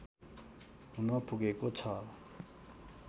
हुन पुगेको छ